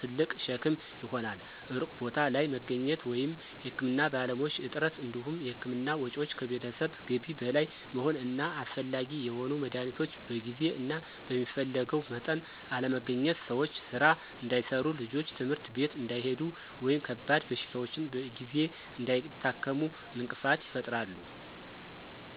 ትልቅ ሸክም ይሆናል። ሩቅ ቦታ ላይ መገኘት ወይም የሕክምና ባለሙያዎች እጥረት እንዲሁም የሕክምና ወጪዎች ከቤተሰብ ገቢ በላይ መሆን እና አስፈላጊ የሆኑ መድኃኒቶች በጊዜ እና በሚፈለገው መጠን አለመገኘት ሰዎች ሥራ እንዳይሠሩ፣ ልጆች ትምህርት ቤት እንዳይሄዱ ወይም ከባድ በሽታዎችን በጊዜ እንዳይታከሙ እንቅፋት ይፈጥራሉ።